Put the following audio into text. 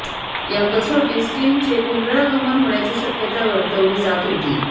या कसोटीत स्टीनचे पुनरागमन होण्याची शक्यता वर्तवली जात होती